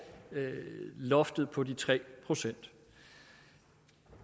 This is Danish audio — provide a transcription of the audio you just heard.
loftet på de tre procent